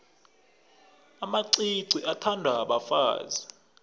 amacici athandwa bafazi